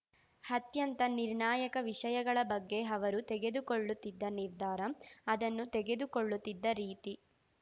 ಅತ್ಯಂತ ನಿರ್ಣಾಯಕ ವಿಷಯಗಳ ಬಗ್ಗೆ ಅವರು ತೆಗೆದುಕೊಳ್ಳುತ್ತಿದ್ದ ನಿರ್ಧಾರ ಅದನ್ನು ತಗೆದುಕೊಳ್ಳುತ್ತಿದ್ದ ರೀತಿ